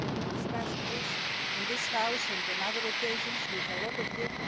We have discussed this in this House on other occasions with many of you.